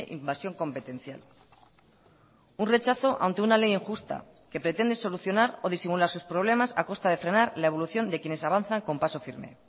invasión competencial un rechazo ante una ley injusta que pretende solucionar o disimular sus problemas a costa de frenar la evolución de quienes avanzan con paso firme